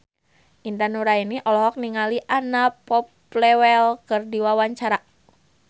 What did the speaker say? Intan Nuraini olohok ningali Anna Popplewell keur diwawancara